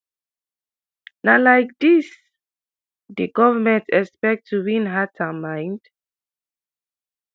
na like dis di government expect to win hearts and minds?"